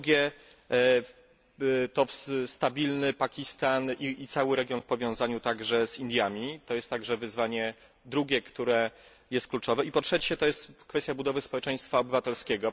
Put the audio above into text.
po drugie, to stabilny Pakistan i cały region w powiązaniu także z Indiami to jest także wyzwanie drugie, które jest kluczowe i po trzecie, to jest kwestia budowy społeczeństwa obywatelskiego.